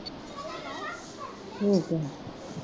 ਠੀਕ ਹੈ